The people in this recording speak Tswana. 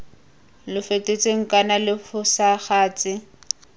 lo fetotsweng kana lo fosagatse